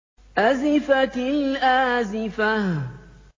أَزِفَتِ الْآزِفَةُ